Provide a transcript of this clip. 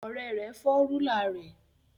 Ọrẹ rẹ fọ rulạ rẹ